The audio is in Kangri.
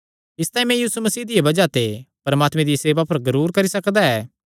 इसतांई मैं यीशु मसीह दिया बज़ाह ते परमात्मे दिया सेवा पर गरूर करी सकदा ऐ